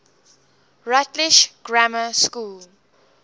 rutlish grammar school